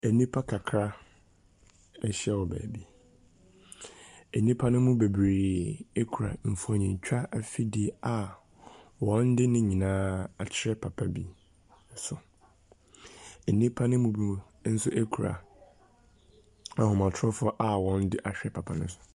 Nnipa kakra ahyia wɔ baabi. Nnipa no mu bebree kura mfonintwa afidie a wɔde ne nyinaa akyerɛ papa bi so. Nnipa no mu binomnso kura ahomatorofoɔ a wɔde ahyɛ papa no so.